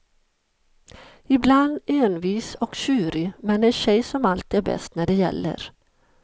Ibland envis och tjurig men en tjej som alltid är bäst när det gäller.